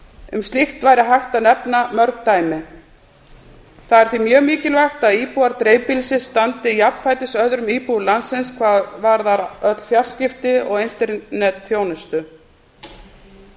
um slíkt væri hægt að nefna mörg dæmi það er því mjög mikilvægt að íbúar dreifbýlisins standi jafnfætis öðrum íbúum landsins hvað varðar öll fjarskipti og internetþjónustu því að í